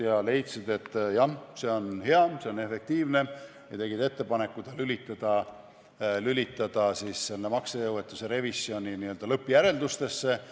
Nemad leidsid, et jah, see on hea, see on efektiivne, ja tegid ettepaneku ta lülitada maksejõuetuse revisjoni lõppjäreldustesse.